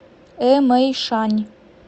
эмэйшань